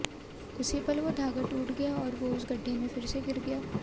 उसी पल वो धागा टूट गया और वो उस गड्ढे में फिर से गिर गया